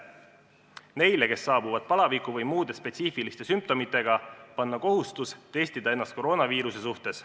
Neile, kes saabuvad palaviku või muude spetsiifiliste sümptomitega, tuleb panna kohustus testida ennast koroonaviiruse suhtes.